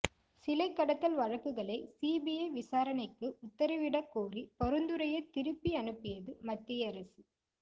சிலை கடத்தல் வழக்குகளை சிபிஐ விசாரணைக்கு உத்தரவிட கோரிய பரிந்துரையை திருப்பி அனுப்பியது மத்திய அரசு